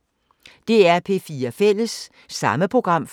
DR P4 Fælles